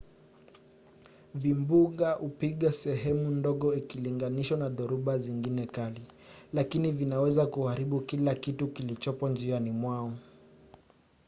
vimbunga hupiga sehemu ndogo ikilinganishwa na dhoruba zingine kali lakini vinaweza kuharibu kila kitu kilichopo njiani mwao